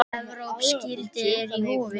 Evrópsk gildi eru í húfi.